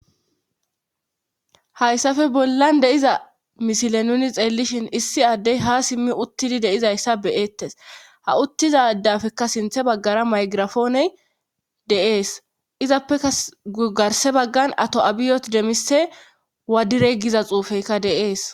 Hayssafe bollan deiza misile nuni xeellishin issi addey ha simmi uttidi deizayssa beeettes ha uttiza dafekka sinthe baggara maygirafooney deees izappeka gugarse baggan ato7abiyot demise wadire giza xuufeyka deees.